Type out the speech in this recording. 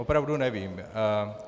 Opravdu nevím.